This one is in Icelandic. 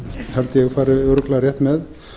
held ég fari örugglega rétt með